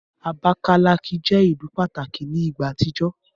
Abakalaki jẹ ilu pataki ni igba atijọ.